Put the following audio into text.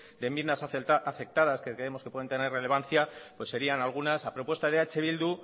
de enmiendas aceptadas que creemos que pueden tener relevancia pues serían algunas a propuesta de eh bildu